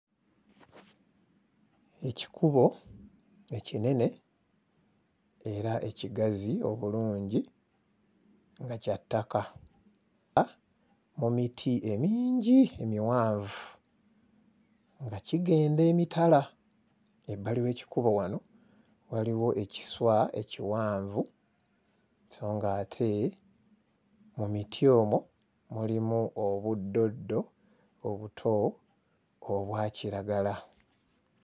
Ekikubo ekinene era ekigazi obulungi nga kya ttaka , nga mu miti emingi emiwanvu nga kigenda emitala. Ebbali w'ekikubo wano waliwo ekiswa ekiwanvu so ng'ate mu miti omwo mulimu obuddoddo obuto obwa kiragala.